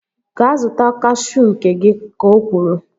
Gaa zụta kashuu nke gị! Ka o kwuru